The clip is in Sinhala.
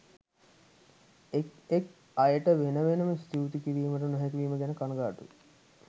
එක් එක් අයට වෙන වෙනම ස්තුති කිරීමට නොහැකි වීම ගැන කණගාටුයි